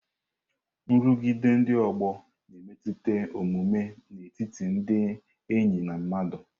Nrụgide ndị ọgbọ na-emetụta omume n'etiti ndị enyi na ndị mmadụ.